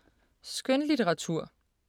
Skønlitteratur